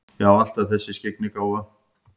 Já, alltaf þessi skyggnigáfa.